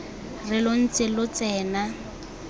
re lo ntse lo tsena